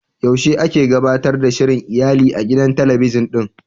Yaushe ake gabatar da shirin iyali a gidan talabijin ɗin?